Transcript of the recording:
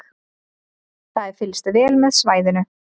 Það er fylgst vel með svæðinu